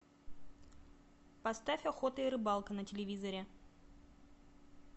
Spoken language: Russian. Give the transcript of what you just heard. поставь охота и рыбалка на телевизоре